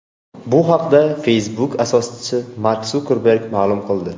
Bu haqda Facebook asoschisi Mark Sukerberg ma’lum qildi.